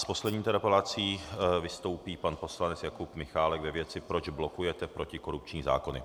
S poslední interpelací vystoupí pan poslanec Jakub Michálek ve věci "proč blokujete protikorupční zákony".